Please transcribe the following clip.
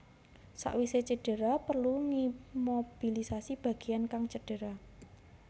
Sawise cedera perlu ngimobilisasi bageyan kang cedera